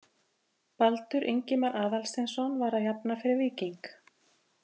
Baldur Ingimar Aðalsteinsson var að jafna fyrir Víking.